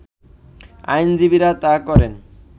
আইনজীবীরা তা করেন